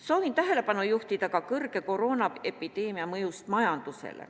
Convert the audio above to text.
Soovin tähelepanu juhtida ka kõrgele koroonaepideemia mõjule majanduses.